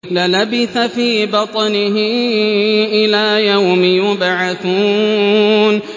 لَلَبِثَ فِي بَطْنِهِ إِلَىٰ يَوْمِ يُبْعَثُونَ